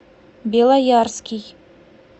белоярский